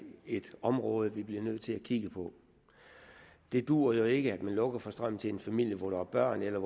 et område vi bliver nødt til at kigge på det duer jo ikke at man lukker for strømmen til en familie hvor der er børn eller